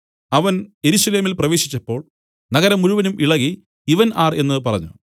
അവൻ യെരൂശലേമിൽ പ്രവേശിച്ചപ്പോൾ നഗരം മുഴുവനും ഇളകി ഇവൻ ആർ എന്നു പറഞ്ഞു